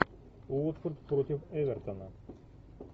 уотфорд против эвертона